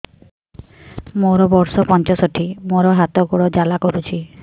ମୋର ବର୍ଷ ପଞ୍ଚଷଠି ମୋର ହାତ ଗୋଡ଼ ଜାଲା କରୁଛି